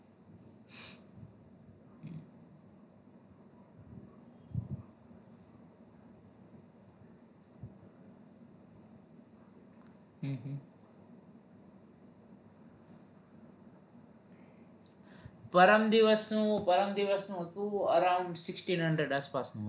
પરમ દિવસનું પરમ દિવસનું હતું around sixteen hundred આસપાસનું